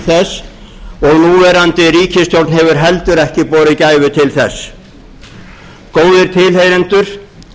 þess og núverandi ríkisstjórn hefur heldur ekki borið gæfu til þess góðir tilheyrendur